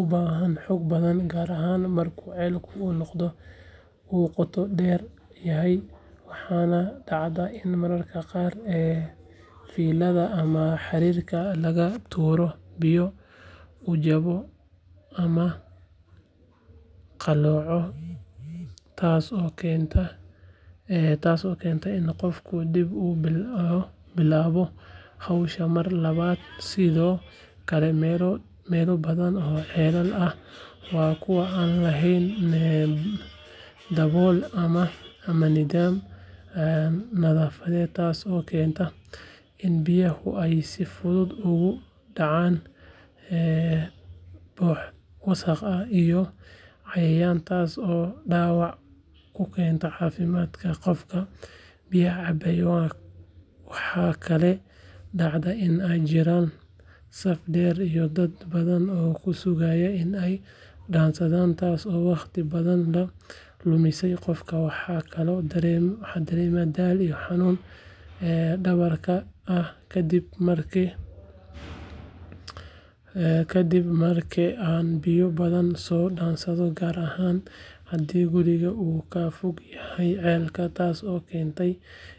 u baahan xoog badan gaar ahaan marka ceelku uu qoto dheer yahay waxaana dhacda in mararka qaar fiilada ama xarigga laga tuuro biyo uu jabo ama qallooco taasoo keenta in qofku dib u bilaabo hawsha mar labaad sidoo kale meelo badan oo ceelal ah waa kuwo aan lahayn dabool ama nidaam nadaafadeed taasoo keenta in biyaha ay si fudud ugu dhacaan boodh wasakh iyo cayayaan taasoo dhaawac ku keenta caafimaadka qofka biyaha cabbaya waxaa kaloo dhacda in ay jiraan saf dheer iyo dad badan oo ku sugaya in ay dhaansadaan taasoo wakhti badan ka luminaysa qofka waxaan kaloo dareemaa daal iyo xanuun dhabarka ah kadib marka aan biyo badan soo dhaansado gaar ahaan haddii gurigu uu ka fog yahay ceelka taas oo keenaysa in marar.